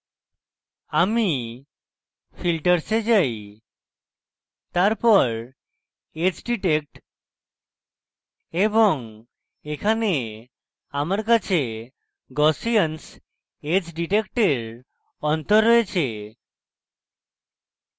আমি filters we যাই তারপর edgedetect এবং এখানে আমার কাছে gaussians edge detect এর অন্তর রয়েছে